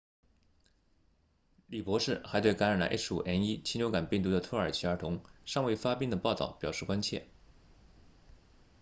李博士还对感染了 h5n1 禽流感病毒的土耳其儿童尚未发病的报道表示关切